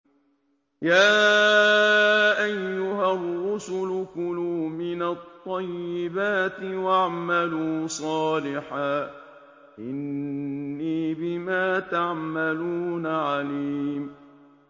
يَا أَيُّهَا الرُّسُلُ كُلُوا مِنَ الطَّيِّبَاتِ وَاعْمَلُوا صَالِحًا ۖ إِنِّي بِمَا تَعْمَلُونَ عَلِيمٌ